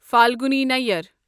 Falguni Nayyar